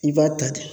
I b'a ta ten